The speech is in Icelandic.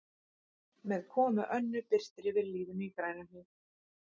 Með komu Önnu birtir yfir lífinu í Grænuhlíð.